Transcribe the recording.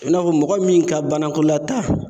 A bɛ I n'a fɔ mɔgɔ min ka banakɔlataa.